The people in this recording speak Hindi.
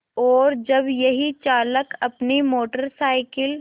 और जब यही चालक अपनी मोटर साइकिल